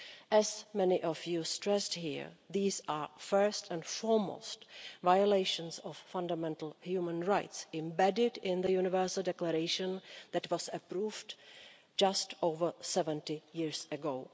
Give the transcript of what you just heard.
As many of you stressed here, these are first and foremost violations of fundamental human rights embedded in the Universal Declaration that was approved just over 70 years ago.